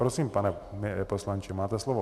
Prosím, pane poslanče, máte slovo.